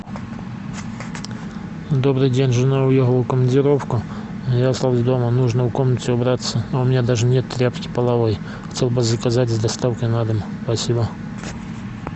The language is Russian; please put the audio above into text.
добрый день жена уехала в командировку а я остался дома нужно в комнате убраться а у меня даже нет тряпки половой хотел бы заказать с доставкой на дом спасибо